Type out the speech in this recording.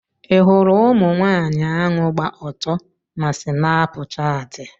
Ị hụrụ ụmụnwaanyị ahụ gba ọtọ na Snapshatị?